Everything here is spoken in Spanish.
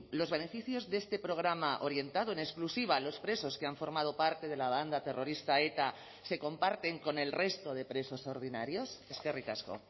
los beneficios de este programa orientado en exclusiva a los presos que han formado parte de la banda terrorista eta se comparten con el resto de presos ordinarios eskerrik asko